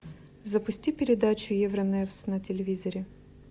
запусти передачу евроневс на телевизоре